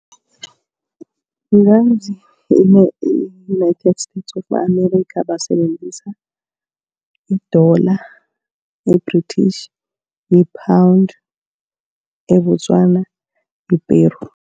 e-United States of America basebenzisa idola, i-British, iPound. eBotswana yiPeru.